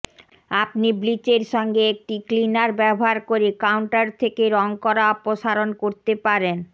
আপনি ব্লিচ সঙ্গে একটি ক্লিনার ব্যবহার করে কাউন্টার থেকে রং করা অপসারণ করতে পারেন